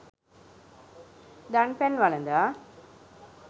දන් පැන් වළඳා